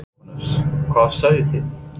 Jóhannes: Hvað sáuð þið?